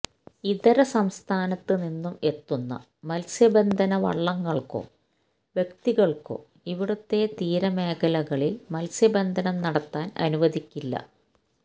ഇതര സംസ്ഥാനത്ത് നിന്നും എത്തുന്ന മൽസ്യബന്ധന വള്ളങ്ങൾക്കോ വ്യക്തികൾക്കോ ഇവിടുത്തെ തീരമേഖലകളിൽ മൽസ്യബന്ധനം നടത്താൻ അനുവദിക്കില്ല